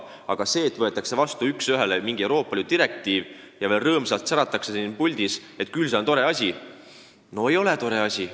Aga see, et võetakse üks ühele üle mingi Euroopa Liidu direktiiv ja teatatakse siin puldis rõõmsalt särades, et küll see on tore asi – no ei ole tore asi.